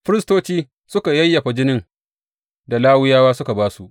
Firistoci suka yayyafa jinin da Lawiyawa suka ba su.